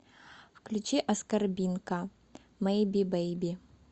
включи аскорбинка мэйби бэйби